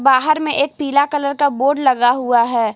बाहर में एक पीला कलर का बोर्ड लगा हुआ है।